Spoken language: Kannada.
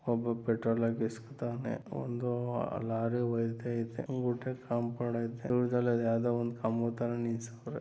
ಒಬ್ಬ ಪೆಟ್ರೋಲ್‌ ಹಾಕುಸ್ಕೊತಾವ್ನೆ ಒಂದು ಲಾರಿ ಹೋಯ್ತಾಯ್ದೆ